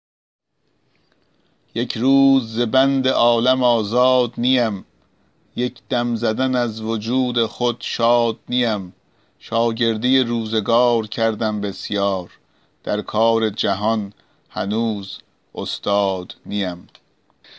یک روز ز بند عالم آزاد نیم یک دم زدن از وجود خود شاد نیم شاگردی روزگار کردم بسیار در کار جهان هنوز استاد نیم